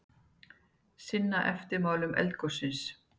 Sinna eftirmálum eldgossins